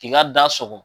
K'i ka da sɔgɔ